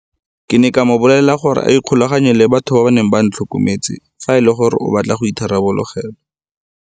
Ke ne ka mo bolelela gore a ikgolaganye le batho ba ba neng ba ntlhokometse fa e le gore o batla go itharabologelwa.